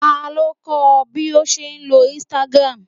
Ta ló kọ́ ọ bí o ṣe ń lo Instagram